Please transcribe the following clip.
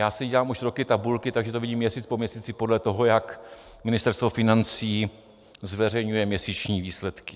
Já si dělám už roky tabulky, takže to vidím měsíc po měsíci podle toho, jak Ministerstvo financí zveřejňuje měsíční výsledky.